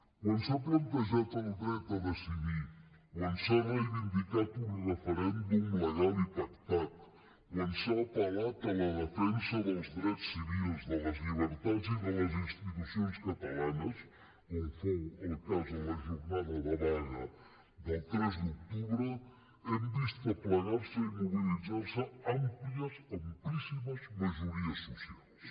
quan s’ha plantejat el dret a decidir quan s’ha reivindicat un referèndum legal i pactat quan s’ha apel·lat a la defensa dels drets civils de les llibertats i de les institucions catalanes com fou el cas en la jornada de vaga del tres d’octubre hem vist aplegar se i mobilitzar se àmplies amplíssimes majories socials